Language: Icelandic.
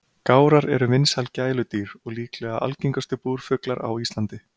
Gárar eru vinsæl gæludýr og líklega algengustu búrfuglar á Íslandi.